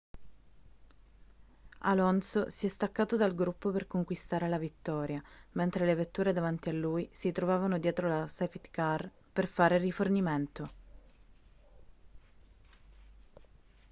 alonso si è staccato dal gruppo per conquistare la vittoria mentre le vetture davanti a lui si trovavano dietro la safety car per fare rifornimento